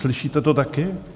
Slyšíte to taky?